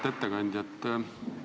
Auväärt ettekandja!